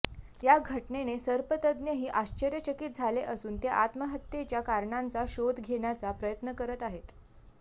या घटनेने सर्पतज्ज्ञही आश्चर्यचकित झाले असून ते आत्महत्येच्या कारणांचा शोध घेण्याचा प्रयत्न करत आहेत